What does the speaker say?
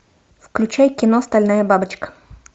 включай кино стальная бабочка